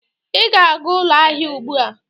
Ị ga-aga ụlọ ahịa ugbu a.